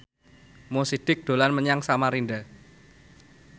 Mo Sidik dolan menyang Samarinda